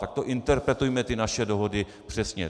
Tak to interpretujme ty naše dohody přesně.